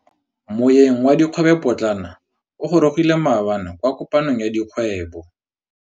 Moêng wa dikgwêbô pôtlana o gorogile maabane kwa kopanong ya dikgwêbô.